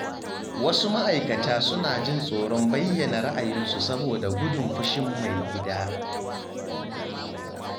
Wasu ma’aikata suna jin tsoron bayyana ra’ayinsu saboda gudun fushin "Mai gida".